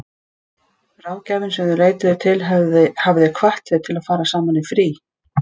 Ráðgjafinn sem þau leituðu til hafði hvatt þau til að fara saman í frí.